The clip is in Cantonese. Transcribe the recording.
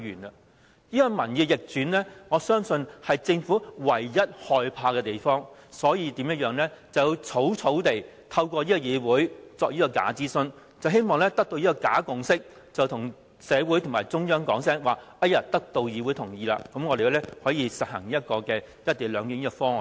我相信，民意逆轉是政府唯一害怕的東西，因此便要草草透過這個議會進行這個假諮詢，希望得出假共識，以便向社會及中央說已得到議會同意，可以實行"一地兩檢"方案。